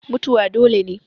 Mutuwa dole ne.